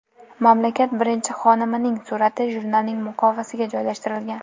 Mamlakat birinchi xonimining surati jurnalning muqovasiga joylashtirilgan.